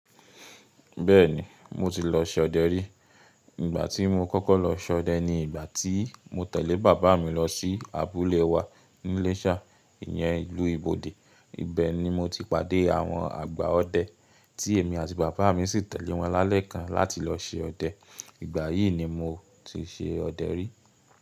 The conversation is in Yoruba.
Bẹ́ẹ̀ni, mo ti lọ ṣe ọdẹ rí. Ìgbà tí mo kọ́kọ́ lọ ṣe ọdẹ ni ìgbà tí mo tẹ̀lé bàbá mi lọ sí abúlé wa ní Iléṣà, ìyẹn ìlú Ibode. Ibẹ̀ ni mo ti pàdé àwọn àgbà ọdẹ tí èmi àti bàbá mi sì tẹ̀lé wọn lálẹ́ kan láti lọ ṣe ọdẹ. Ìgbà yìí ni mo ti ṣe ọdẹ rí.